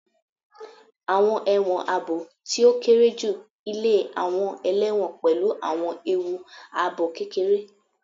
Awọn ẹwọn aabo ti o kere ju ile awọn ẹlẹwọn pẹlu awọn eewu aabo kekere